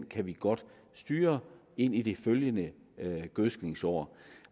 kan vi godt styre ind i det følgende gødskningsår